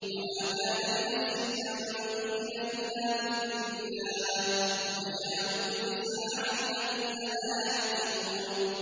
وَمَا كَانَ لِنَفْسٍ أَن تُؤْمِنَ إِلَّا بِإِذْنِ اللَّهِ ۚ وَيَجْعَلُ الرِّجْسَ عَلَى الَّذِينَ لَا يَعْقِلُونَ